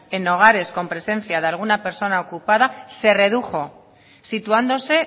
en hogares con presencia de alguna persona ocupada se redujo situándose